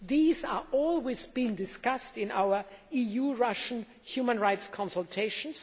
These are always discussed in our EU Russia human rights consultations.